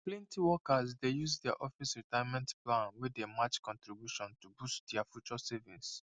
plenty workers dey use their office retirement plan wey dey match contribution to boost their future savings